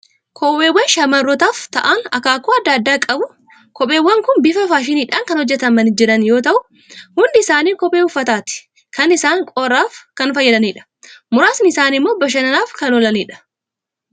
Kopheewwan shamarrootaaf ta'an akaakuu adda addaa qabu. Kopheewwan kun bifa faashiniidhaan kan hojjetamanii jiran yoo'u, hundi isaanii kophee uffataati. Kaan isaanii qorraaf kan fayyadanidha. Muraasni isaanii immoo bashannanaaf kan oolanidha